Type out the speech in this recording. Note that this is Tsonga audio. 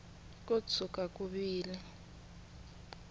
ko tshuka ku vile ni